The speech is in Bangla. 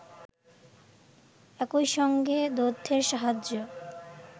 একই সঙ্গে দ্ব্যর্থের সাহায্যে